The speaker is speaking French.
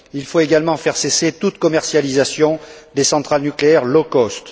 Il faut également faire cesser toute commercialisation des centrales nucléaires low cost